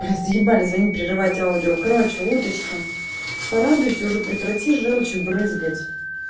да заебали звонить прерывать аудио короче уточки порадуйте уже прекрати жёлчью брызгать